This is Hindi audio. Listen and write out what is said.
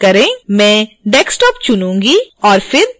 मैं desktop चुनुँगी और फिर ok पर क्लिक करूँगी